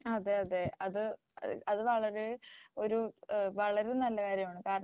അതെ അതെ അത് വളരെ ഒരു വളരെ നല്ല കാര്യമാണ്